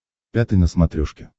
пятый на смотрешке